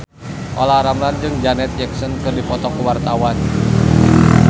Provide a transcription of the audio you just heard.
Olla Ramlan jeung Janet Jackson keur dipoto ku wartawan